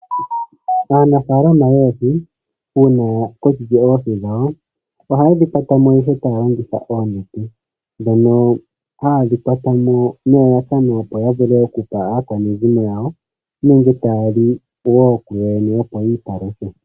Aanafalama yoohi uuna ya kokeke oohi dhawo ohaye dhi kwatamo ihe taya longitha oonete dhono haye dhi kwatamo nelalakano, opo ya vule okupa aakwanezimo yawo nenge taya li wo kuyoyene opo yi ipaluthe.